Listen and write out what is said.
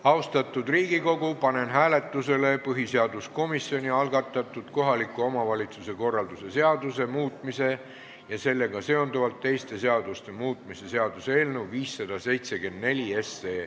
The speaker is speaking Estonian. Austatud Riigikogu, panen hääletusele põhiseaduskomisjoni algatatud kohaliku omavalitsuse korralduse seaduse muutmise ja sellega seonduvalt teiste seaduste muutmise seaduse eelnõu 574.